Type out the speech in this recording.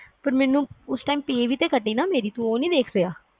ਪਰ ਮੈਨੂੰ ਉਸ time pay ਵੀ ਤਾ ਕੱਟੀ ਨਾ ਮੇਰੀ ਤੂੰ ਉਹ ਨੀ ਦੇਖ ਰਿਹਾ